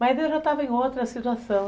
Mas eu já estava em outra situação.